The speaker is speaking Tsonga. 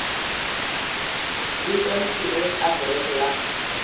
vito ni khirefu adirese ya